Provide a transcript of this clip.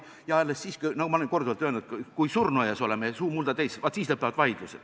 Ma olen korduvalt öelnud, et vaidlused lõpevad alles siis, kui oleme surnuaias ja suu on mulda täis.